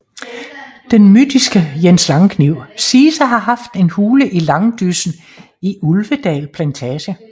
Den mytiske Jens Langkniv siges at have haft en hule i langdyssen i Ulvedal plantage